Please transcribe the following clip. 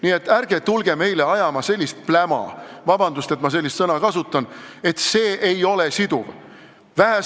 Nii et ärge tulge meile ajama pläma – vabandust, et ma sellist sõna kasutan!